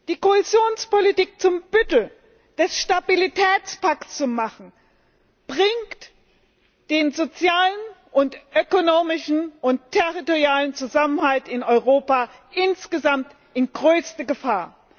Die Kohäsionspolitik zum Büttel des Stabilitätspakts zu machen, bringt den sozialen, ökonomischen und territorialen Zusammenhalt in Europa insgesamt in größte Gefahr.